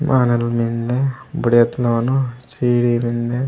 मालन मिन्दे बढ़ियात नौ नौ सीढ़ी मिन्दे।